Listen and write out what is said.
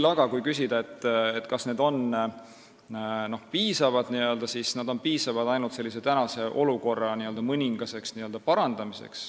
Kui küsida, kas see on piisav, siis see on piisav ainult tänase olukorra mõningaseks parandamiseks.